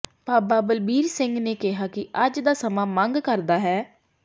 ਬਾਬਾ ਬਲਬੀਰ ਸਿੰਘ ਨੇ ਕਿਹਾ ਕਿ ਅੱਜ ਦਾ ਸਮਾਂ ਮੰਗ ਕਰਦਾ ਹੈ